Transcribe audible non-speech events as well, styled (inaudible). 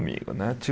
né. (unintelligible)